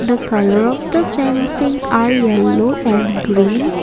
the colour of the fencing are yellow and green.